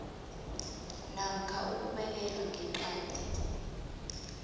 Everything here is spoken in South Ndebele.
namkha ukubekelwa ngeqadi